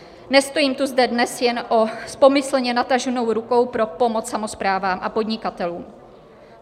Nestojím tu zde dnes jen s pomyslně nataženou rukou pro pomoc samosprávám a podnikatelům.